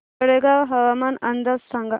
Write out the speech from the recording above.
तळेगाव हवामान अंदाज सांगा